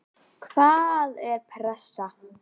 Hvaða er pressa?